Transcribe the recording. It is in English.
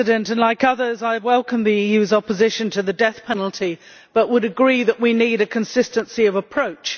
Mr President, like others I welcome the EU's opposition to the death penalty but would agree that we need consistency of approach.